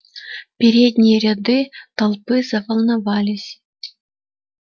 передние ряды толпы заволновались